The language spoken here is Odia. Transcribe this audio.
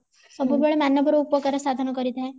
ସବୁବେଳେ ମନବ ର ଉପକାର ସାଧନ କରିଥାଏ